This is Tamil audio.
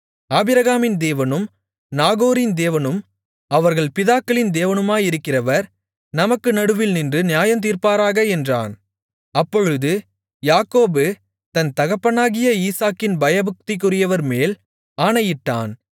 ஆபிரகாமின் தேவனும் நாகோரின் தேவனும் அவர்கள் பிதாக்களின் தேவனுமாயிருக்கிறவர் நமக்கு நடுவில் நின்று நியாயந்தீர்ப்பாராக என்றான் அப்பொழுது யாக்கோபு தன் தகப்பனாகிய ஈசாக்கின் பயபக்திக்குரியவர்மேல் ஆணையிட்டான்